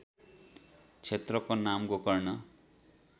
क्षेत्रको नाम गोकर्ण